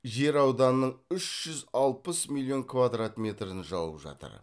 жер ауданының үш жүз алпыс миллион квадрат метрін жауып жатыр